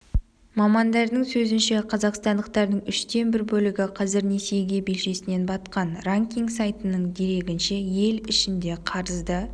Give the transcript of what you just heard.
мамандардың сөзінше қазақстандықтардың үштен бір бөлігі қазір несиеге белшесінен батқан ранкинг сайтының дерегінше ел ішінде қарызды